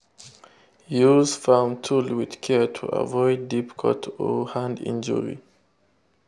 use farm tool with care to avoid deep cut or hand injury.